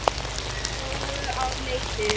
Gróu á Leiti.